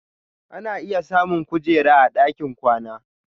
Ana iya samun ƙujera a dakin kwana.